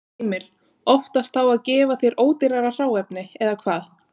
Heimir: Oftast þá að gefa þér ódýrara hráefni, eða hvað?